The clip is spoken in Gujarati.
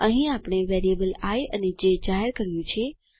અહીં આપણે વેરિયેબલ આઇ અને જે જાહેર કર્યું છે